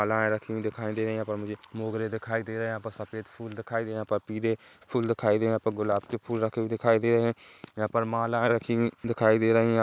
मालाएं रखी हुई दिखाई दे रही हैं यहां पर मुझे मोगरे दिखाई दे रहे हैं यहां पर सफ़ेद फूल दिखाई दे हैयहां पर पीले फूल दिखाई दे रहे है यहां पर गुलाब के फूल रखे हुए दिखाई दे रहे हैं यहां पर माला रखी हुई दिखाई दे रही हैं।